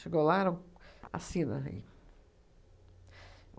Chegou lá e assina aí